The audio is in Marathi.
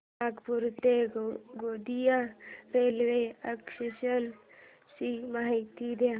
नागपूर ते गोंदिया रेल्वे आरक्षण ची माहिती दे